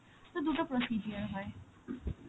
sir দুটো procedure হয়